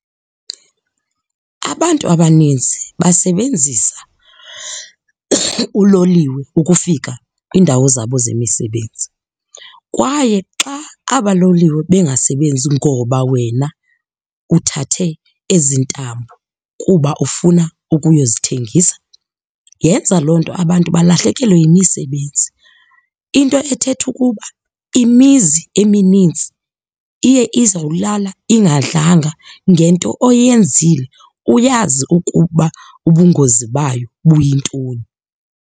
Abantu abaninzi basebenzisa uloliwe ukufika kwiindawo zabo zemisebenzi kwaye xa aba loliwe bengasebenzi ngoba wena uthathe ezi ntambo kuba ufuna ukuyozithengisa, yenza loo nto abantu balahlekelwe yimisebenzi. Into ethetha ukuba imizi emininzi iye izawulala ingadlanga ngento oyenzile uyazi ukuba ubungozi bayo buyintoni.